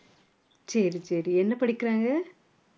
சரி சரி என்ன படிக்கிறாங்க